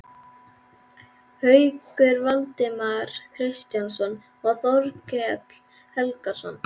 Hauksson, Valdimar Kristinsson og Þorkell Helgason.